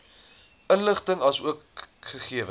inligting asook gegewens